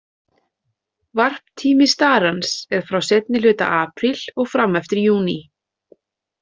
Varptími starans er frá seinni hluta apríl og fram eftir júní.